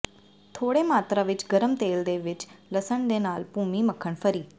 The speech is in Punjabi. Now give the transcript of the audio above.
ਥੋੜ੍ਹੇ ਮਾਤਰਾ ਵਿੱਚ ਗਰਮ ਤੇਲ ਦੇ ਵਿੱਚ ਲਸਣ ਦੇ ਨਾਲ ਭੂਮੀ ਮੱਖਣ ਫਰੀ